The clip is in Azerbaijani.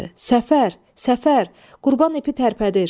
Səfər, Səfər, Qurban ipi tərpədir.